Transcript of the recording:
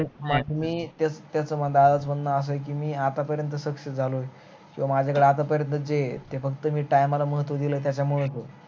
त्याच, त्याच म्हणन अस आहे कि मी आतापर्यंत success झालो कि माझ्याकड आता पर्यंत जे ते फक्त मी time ला महत्व दिल त्याच्यामुळे होतो